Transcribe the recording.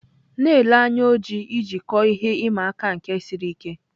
Na-ele anya oji iji kọọ ihe ịma aka nke ọrụ siri ike.